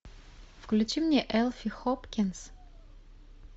включи мне элфи хопкинс